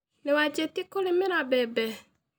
Nĩwanjĩtie kũrĩmĩra mbembe